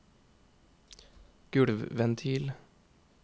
gulvventil